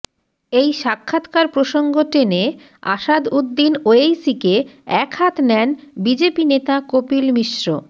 এই সাক্ষাৎকার প্রসঙ্গ টেনে আসাদউদ্দিন ওয়েইসিকে একহাত নেন বিজেপি নেতা কপিল মিশ্র